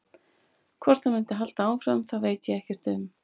Hvort það muni halda áfram það veit ég ekkert um.